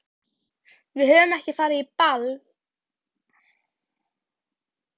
Við höfum ekki farið á ball í heila öld!